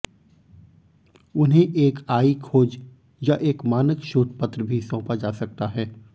उन्हें एक आई खोज या एक मानक शोध पत्र भी सौंपा जा सकता है